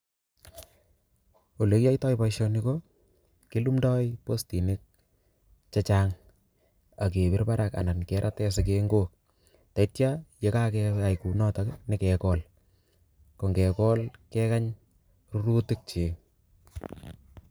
Ole kiyoitoi boisoni ko kilumdoi postinik chechang', agebir barak anan kerate sigengok. Tetya ye kakeyai kunotok, nyikegol. Ko ngegol, kekany rurutik chik